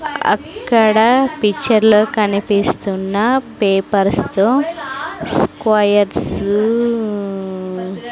అక్కడ పిక్చర్ లో కనిపిస్తున్న పేపర్స్ తో స్క్వయర్స్ .